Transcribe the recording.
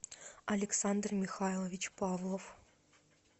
александр михайлович павлов